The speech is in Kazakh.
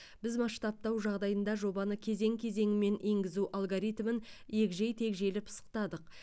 біз масштабтау жағдайында жобаны кезең кезеңімен енгізу алгоритмін егжей тегжейлі пысықтадық